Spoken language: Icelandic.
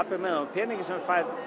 peninga sem þú færð